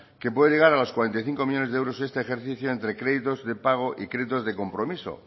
que puede llegar a los cuarenta y cinco millónes de euros este ejercicio entre créditos de pago y créditos de compromiso